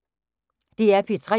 DR P3